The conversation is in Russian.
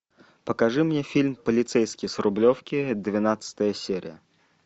покажи мне фильм полицейский с рублевки двенадцатая серия